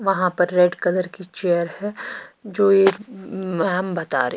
वहाँ पर red colour की चेयर है जो ये मैम बता रहे।